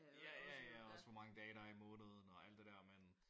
Ja og også hvor mange dage der er i måneden og alt det der men